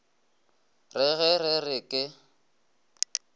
re ge re re ke